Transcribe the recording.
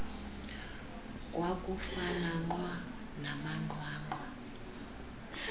kwakufana nqwa namanqwanqwa